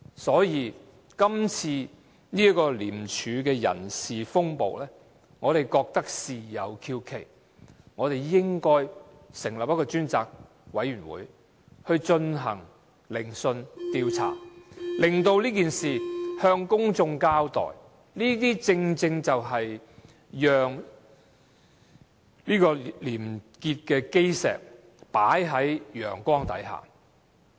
所以，今次廉署的人事風暴，我們覺得事有蹊蹺，應該成立一個專責委員會，進行聆訊調查，以向公眾交代事情，這些正正是把廉潔的基石放在陽光下。